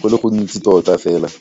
go le gontsi tota fela.